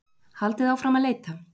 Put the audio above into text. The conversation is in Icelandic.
Haldið áfram að leita